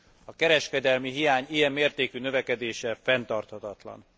A kereskedelmi hiány ilyen mértékű növekedése fenntarthatatlan.